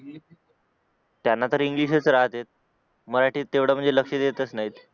त्यांना तर इंग्लिश च राहते मराठीत तेवढं म्हणजे लक्ष देतच नाहीत